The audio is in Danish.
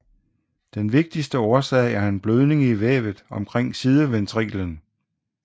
Den vigtigste årsag er en blødning i vævet omkring sideventriklen